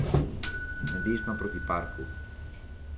Na desno proti parku.